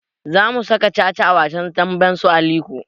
Za mu saka caca a wasan damben su Aliko